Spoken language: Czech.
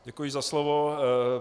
Děkuji za slovo.